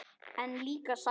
En líka sælu.